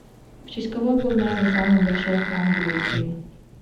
в честь кого был назван самый большой храм грузии